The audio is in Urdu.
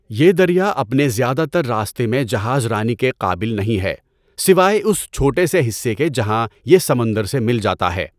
یہ دریا اپنے زیادہ تر راستے میں جہاز رانی کے قابل نہیں ہے سوائے اس چھوٹے سے حصے کے جہاں یہ سمندر سے مل جاتا ہے۔